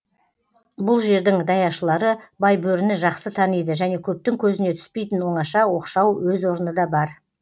бұл жердің даяшылары байбөріні жақсы таниды және көптің көзіне түспейтін оңаша оқшау өз орны да бар